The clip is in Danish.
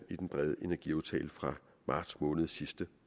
i den brede energiaftale fra marts måned sidste